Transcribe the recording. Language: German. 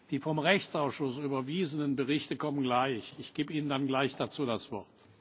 Die vom Rechtsausschuss überwiesenen Berichte kommen gleich. Ich gebe Ihnen dazu dann gleich das Wort.